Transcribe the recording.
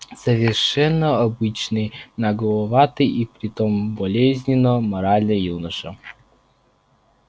совершенно обычный нагловатый и при том болезненно моральный юноша